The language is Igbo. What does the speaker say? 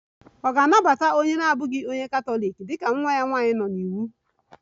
Ọ̀ ga-anabata onye na-abụghị onye Katọlik dị ka nwa ya nwanyị nọ n'iwu?